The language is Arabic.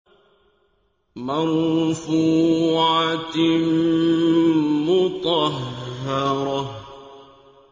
مَّرْفُوعَةٍ مُّطَهَّرَةٍ